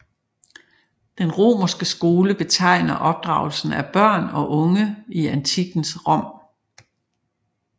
Den romerske skole betegner opdragelsen af børn og unge i antikkens Rom